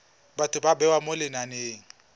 batho ba bewa mo lenaneng